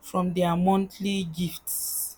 from their monthly gifts.